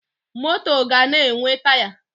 Moto ga na-enwe Taya